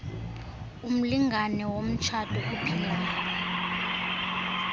umlingane womtshato ophilayo